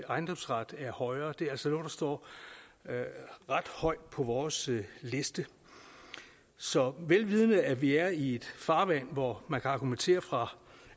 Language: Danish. ejendomsret er højere det er altså noget der står ret højt på vores liste så vel vidende at vi er i et farvand hvor man kan argumentere fra